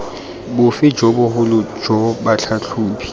bofe jo bogolo jo batlhatlhobi